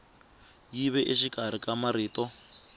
yi ve exikarhi ka marito